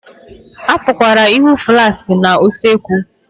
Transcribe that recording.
A pụkwara ịhụ flaskị na usekwu